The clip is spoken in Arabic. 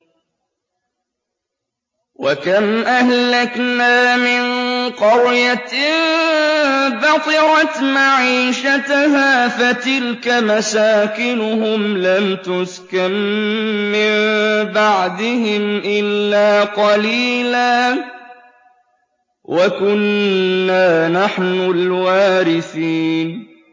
وَكَمْ أَهْلَكْنَا مِن قَرْيَةٍ بَطِرَتْ مَعِيشَتَهَا ۖ فَتِلْكَ مَسَاكِنُهُمْ لَمْ تُسْكَن مِّن بَعْدِهِمْ إِلَّا قَلِيلًا ۖ وَكُنَّا نَحْنُ الْوَارِثِينَ